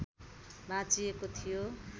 भाँचिएको थियो